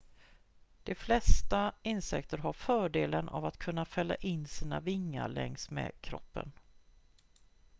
de flesta insekter har fördelen av att kunna fälla in sina vingar längs med kroppen